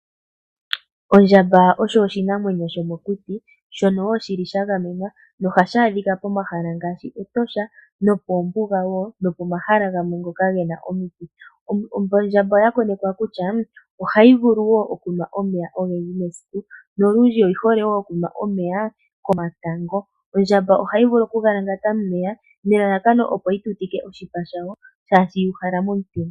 Ondjamba osho oshinamwenyo shomokuti, shono wo shili sha gamenwa nohashi adhika pomahala ngaashi Etosha, nokoombuga wo nokomahala gamwe ngoka gena omiti. Ondjamba oya konekwa kutya ohayi vulu wo okunwa omeya ogendji mesiku nolundji oyi hole wo okunwa omeya komatango. Ondjamba ohayi vulu oku galangata momeya nelalakano opo yi tutike oshipa shayo shaashi yu uhala momutenya.